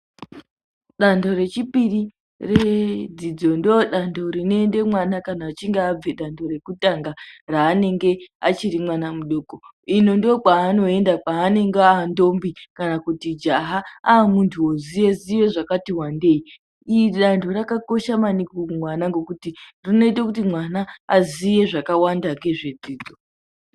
Danho rechipiri redzidzo ndodanho rinoende mwana kana achinge abva kudanho rekutanga raanenge achiri mwana mudoko. Uku ndokwaanoenda kana aandombi kana jaha aamunhu oziye zvakati wandei. Iri danho rakakosha maningi kumwana ngekuti runoita kuti mwana aziye zvakawanda ngezvedzidzo.